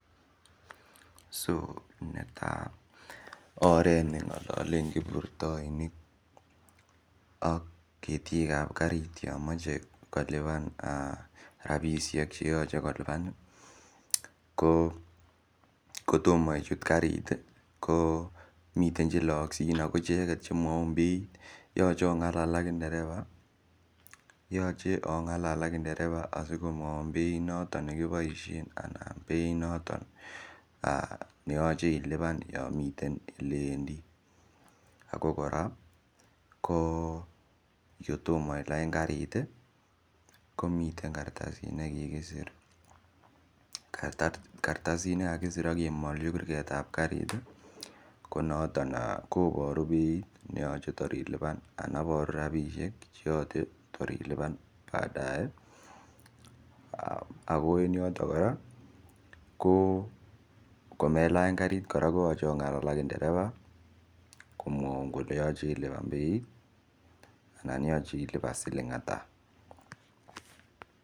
So netai oret ne ngalalen kiprutainik ak ketiik ab kariit yaan machei kolupaan rapisheek che yachei kolupaan kotomaah ichuut kariit miten che laangsiin miten che mwaun beit yachei ongalal ak ndereva anan beit notoon ne yachei ilupaan olaan Mii ole wendii ako kotomah kora ilaany kariit ii komiteen karasiik nekikisir ak kemaljii kurgat ii ko notoon eeh koburu beit anan iboruu rapisheek che tor ilupaan baadae ii ako en yotoon kora komelaany kariit ko yachei ongalal ak ndereva komwauun kole yachei ilupaan beit anan yachei ilupaan siling ata.